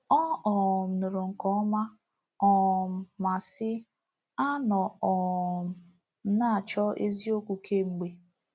Ọ um nụrụ nke ọma um ma sị: “Anọ um m na-achọ eziokwu kemgbe.”